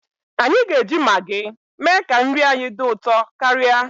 Anyi ga-eji Magi mee ka nri anyị dị ụtọ karịa.